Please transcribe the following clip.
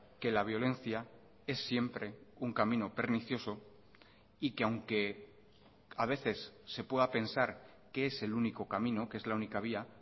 que la violencia es siempre un camino pernicioso y que aunque a veces se pueda pensar que es el único camino que es la única vía